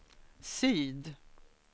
syd